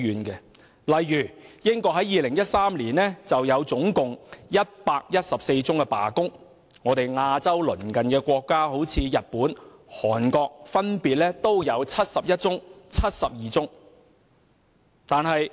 舉例而言，在2013年，英國就有114宗罷工，而日本和韓國這兩個鄰近我們的亞洲國家，亦分別有71宗和72宗。